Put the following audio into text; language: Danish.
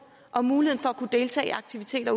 om muligheden for at kunne deltage i aktiviteter